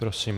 Prosím.